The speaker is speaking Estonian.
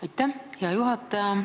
Aitäh, hea juhataja!